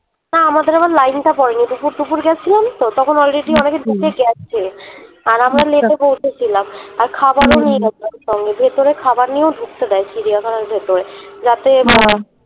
না আমাদের আবার line টা পরে নি দুপুর দুপুর গেছিলাম তো তখন already অনেক ঢুকে গেছে আর আমরা late এ পৌঁছেছিলাম আর খাবার ও নিয়ে গেছি সঙ্গে করে ভেতরে খাবার নিয়েও ঢুকতে দেয় চিড়িয়াখানা ভেতরে যাতে